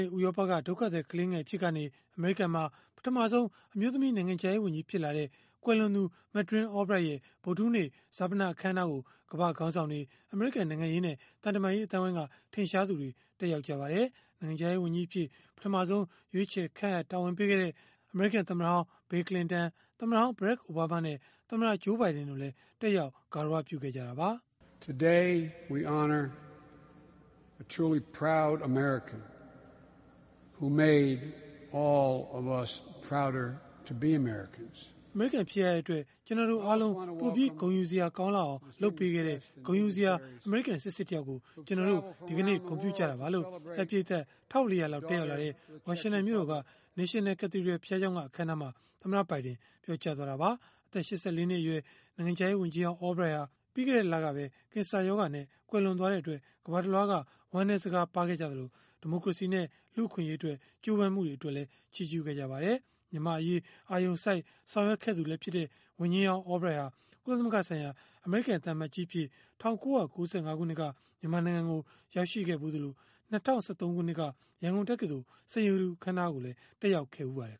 င့် ဥရောပက ဒုက္ခသည်ကလေးငယ် အဖြစ်ကနေ အမေရိကန်မှာ ပထမဆုံး အမျိုးသမီး နိုင်ငံခြားရေးဝန်ကြီး ဖြစ်လာတဲ့ ကွယ်လွန်သူ Madeleine Albright ရဲ့ ဗုဒ္ဓဟူးနေ့ ဈာပနအခမ်းအနားကို ကမ္ဘာ့ခေါင်းဆောင်တွေ၊ အမေရိကန် နိုင်ငံရေးနဲ့ သံတမန်ရေး အသိုင်းအဝိုင်းက ထင်ရှားသူတွေ တက်ရောက်ကြပါတယ်။ နိုင်ငံခြားရေး ဝန်ကြီးအဖြစ် ပထမဆုံး ရွေးချယ်ခန့်အပ် တာဝန်ပေးခဲ့တဲ့ သမ္မတဟောင်း Bill Clinton သမ္မတဟောင်း Barack Obama နဲ့ သမ္မတ Joe Biden တို့လည်း တက်ရောက်ဂါရဝပြုခဲ့ကြတာပါ။ (Act. President Biden) “အမေရိကန် ဖြစ်ရတဲ့အတွက် ကျနော်တို့အားလုံး ပိုပြီးဂုဏ်ယူစရာကောင်းအောင် လုပ်ပေးခဲ့တဲ့ ဂုဏ်ယူစရာ အမေရိကန် စစ်စစ်တယောက်ကို ကျနော်တို့ ဒီကနေ့ ဂုဏ်ပြုကြတာပါ။” လို့ ဧည့်ပရိတ်သတ် ၁၄၀၀ လောက် တက်ရောက်လာတဲ့ ဝါရှင်တန်မြို့တော်က National Cathedral ဘုရားကျောင်းက အခမ်းအနားမှာ သမ္မတဘိုင်ဒင် ပြောကြားသွားတာပါ။ အသက် ၈၄ နှစ်အရွယ် နိုင်ငံခြားရေးဝန်ကြီးဟောင်း Albright ဟာ ပြီးခဲ့တဲ့လက ကင်ဆာရောဂါနဲ့ ကွယ်လွန်သွားတဲ့အတွက် ကမ္ဘာတလွှားက ဝမ်းနည်းစကားပါးခဲ့ကြသလို၊ ဒီမိုကရေစီနဲ့ လူ့အခွင့်အရေးအတွက် ကြိုးပမ်းမှုတွေကိုလည်း ချီးကျုးခဲ့ကြပါတယ်။ မြန်မာ့အရေး အာရုံစိုက် ဆောင်ရွက်ခဲ့သူလည်းဖြစ်တဲ့ ဝန်ကြီးဟောင်း Albright ဟာ ကုလသမဂ္ဂဆိုင်ရာ အမေရိကန် သံအမတ်ကြီးအဖြစ် ၁၉၉၅ ခုနှစ်က မြန်မာနိုင်ငံကို ရောက်ရှိခဲ့ဖူးသလို၊၂၀၁၃ ခုနှစ်က ရန်ကုန်တက္ကသိုလ် စိန်ရတု အခမ်းအနားကိုလည်း တက်ရောက်ခဲ့ဖူးပါတယ်